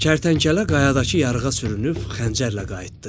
Kərtənkələ qayadakı yarığa sürünüb xəncərlə qayıtdı.